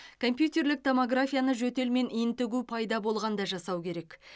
компьютерлік томографияны жөтел мен ентігу пайда болғанда жасау керек